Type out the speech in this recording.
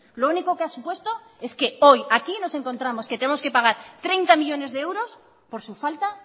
lo único que ha supuesto es que hoy aquí nos encontramos que tenemos que pagar treinta millónes de euros por su falta